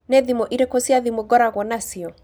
Nĩ thimũ irĩkũ cia thimũ ngoragwo nacio?